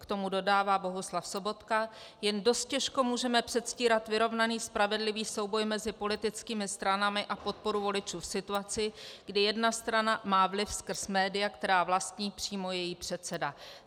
K tomu dodává Bohuslav Sobotka: "Jen dost těžko můžeme předstírat vyrovnaný spravedlivý souboj mezi politickými stranami a podporu voličů v situaci, kdy jedna strana má vliv skrz média, která vlastní přímo její předseda."